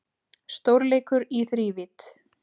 Stórleikur í þrívídd